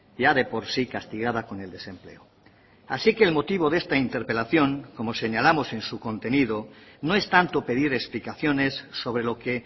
ya de por sí castigada con el desempleo así que el motivo de esta interpelación como señalamos en su contenido no es tanto pedir explicaciones sobre lo que